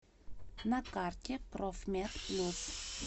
на карте профмед плюс